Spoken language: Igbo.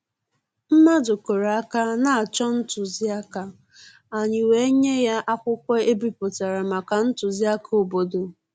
Mmàdụ̀ kụ́rụ̀ áká na-chọ́ ntụzìáká, ànyị́ wèé nyé yá ákwụ́kwọ́ è bípụ̀tàrà màkà ntụzìáká òbòdò.